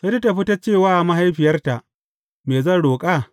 Sai ta fita ta ce wa mahaifiyarta, Me zan roƙa?